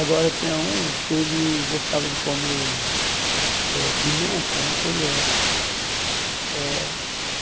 Agora tinha um que ele gostava de comer eh pimenta na colher eh.